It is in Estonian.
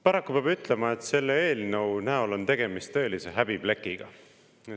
Paraku peab ütlema, et selle eelnõu näol on tegemist tõelise häbiplekiga.